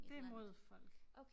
Det mod folk